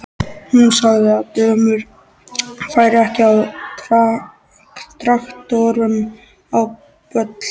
Hún sagði að dömur færu ekki á traktorum á böll.